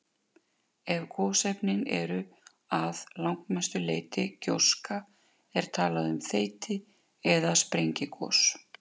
Ef gosefnin eru að langmestu leyti gjóska er talað um þeyti- eða sprengigos.